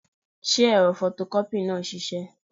Ṣé ẹ̀rọ fọtọkọ́pì náà ń ṣiṣẹ́?